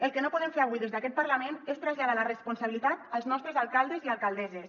el que no podem fer avui des d’aquest parlament és traslladar la responsabilitat als nostres alcaldes i alcaldesses